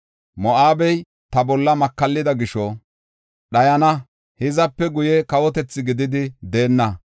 Moo7abe ta bolla makallida gisho dhayana; hizape guye kawotethi gididi deenna.